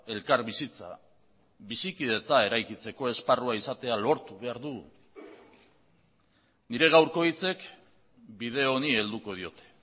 elkarbizitza bizikidetza eraikitzeko esparrua izatea lortu behar du nire gaurko hitzek bide honi helduko diote